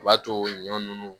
O b'a to ɲɔ nunnu